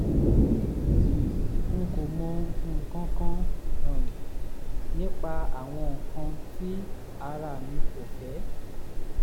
n kò mọ nǹkan kan um nípa àwọn nǹkan tí ara mi kò fẹ́